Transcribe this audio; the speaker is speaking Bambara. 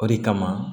O de kama